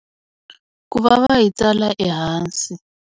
Ku va va yi tsala ehansi.